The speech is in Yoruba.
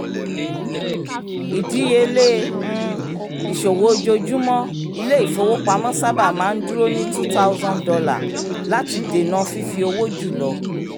ìdíyelé um ìṣòwò ojoojúmọ́ ilé-ifowopamọ́ sábà máa ń dúró ní two thousand dollar láti dènà fífi owó jù lọ